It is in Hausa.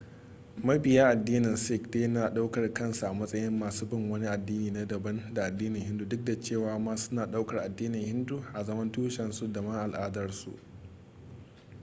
mabiya addinin sikh dai nadaukar kansu a matsayin masu bin wani addini na daban da addinin hindu duk da cewa ma suna daukar addinin hindun a zaman tushensu dama al'adarsu